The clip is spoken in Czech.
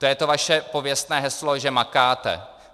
To je to vaše pověstné heslo, že makáte.